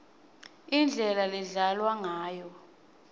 indlela ledlalwa ngayo